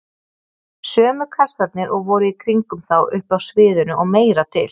Sömu kassarnir og voru í kringum þá uppi á sviðinu- og meira til!